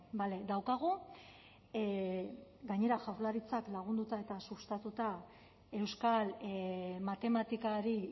bale daukagu gainera jaurlaritzak lagunduta eta sustatuta euskal matematikari